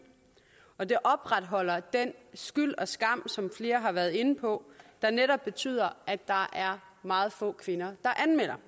og det opretholder den skyld og skam som flere har været inde på der netop betyder at der er meget få kvinder der anmelder